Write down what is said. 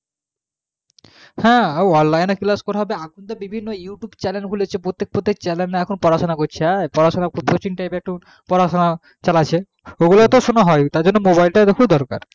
হ্যাঁ online এ class পড়াতে এখন বিভিন্ন youtube channel খুলেছে প্রত্যেকটা channel এ দেখো পড়া সোনা করাচ্ছে coaching type এর পড়া সোনা চালাচ্ছে